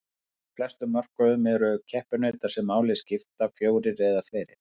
Á flestum mörkuðum eru keppinautar sem máli skipta fjórir eða færri.